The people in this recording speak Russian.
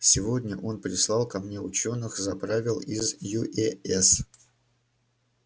сегодня он прислал ко мне учёных заправил из юэс